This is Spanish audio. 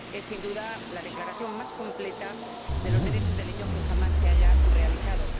Es, sin duda, la declaración más completa de los derechos del niño que jamás se haya realizado.